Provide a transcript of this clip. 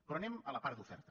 però anem a la part d’oferta